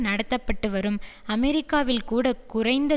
நடத்த பட்டுவரும் அமெரிக்காவில் கூட குறைந்த